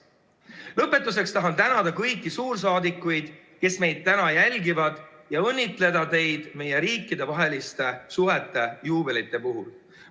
Lõpetuseks tahan tänada kõiki suursaadikuid, kes meid täna jälgivad, ja õnnitleda teid meie riikidevaheliste suhete juubelite puhul.